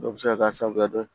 Dɔ bɛ se ka k'a sababu dɔ ye